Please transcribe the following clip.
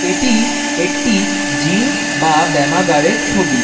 এটি একটি জিম বা ব্যায়ামাগারের ছবি।